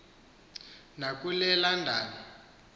na kule london